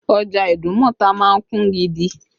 Ọjà Idumota máa ń kún gidi